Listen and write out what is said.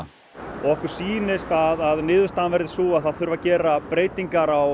okkur sýnist að að niðurstaðan verði sú að það þurfi að gera breytingar á